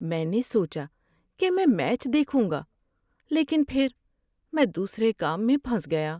میں نے سوچا کہ میں میچ دیکھوں گا لیکن پھر میں دوسرے کام میں پھنس گیا۔